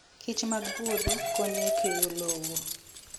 kichmag puodho konyo e keyo lowo.